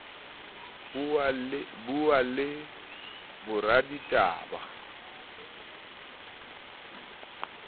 buwa le boraditaba meqoqo e